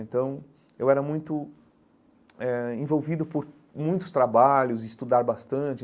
Então, eu era muito eh envolvido por muitos trabalhos, estudar bastante.